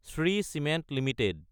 Shri cement Ltd